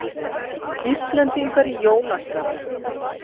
Íslendingar í jólaskapi